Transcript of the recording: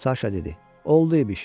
Saşa dedi, oldu iş.